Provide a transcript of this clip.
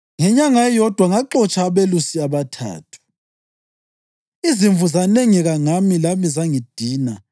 Ngenyanga eyodwa ngaxotsha abelusi abathathu. Izimvu zanengeka ngami, lami zangidina